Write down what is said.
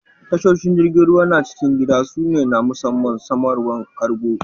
Tashoshin jirigin ruwa na' cikin gida su ne na musamman samarwan kargo.